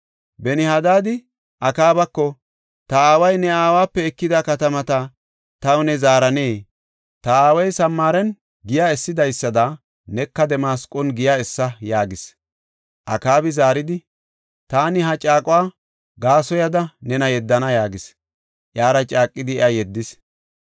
Benihadad Akaabako, “Ta aaway ne aawape ekida katamata ta new zaarana. Ta aaway Samaaren giya essidaysada neka Damasqon giya essa” yaagis. Akaabi zaaridi, “Taani ha caaquwa gaasoyada nena yeddana” yaagis. Iyara caaqidi iya yeddis.